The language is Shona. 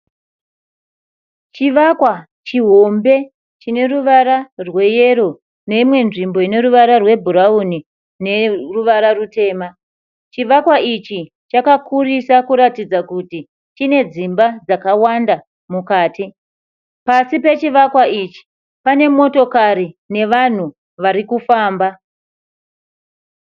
Chivakwa chihombe chine ruvara rweyero neimwe nzvimbo ine ruvara rwebhurauni neruvara rutema. Chivakwa ichi chakakurisa kutaridza kuti chine dzimba dzakawanda mukati. Pasi pechivakwa ichi pane motikari nevanhu vari kufamba.